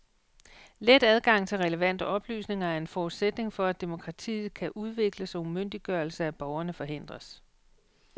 Let adgang til relevante oplysninger er en forudsætning for, at demokratiet kan udvikles og umyndiggørelse af borgerne forhindres.